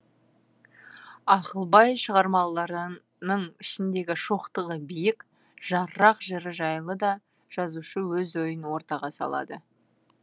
ақылбай шығармаларының ішіндегі шоқтығы биік жаррақ жыры жайлы да жазушы өз ойын ортаға салады